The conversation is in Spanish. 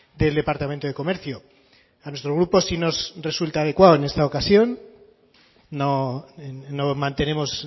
del departamento de comercio a nuestro grupo sí nos resulta adecuado en esta ocasión no mantenemos